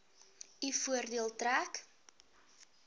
u voordeel trek